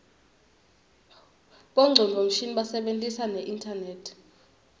bongcondvo mshini basebentisa neinternet